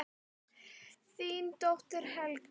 Þín dóttir, Helga.